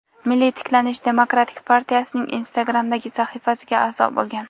"Milliy tiklanish" demokratik partiyasining instagramdagi sahifasiga aʼzo bo‘lgan,.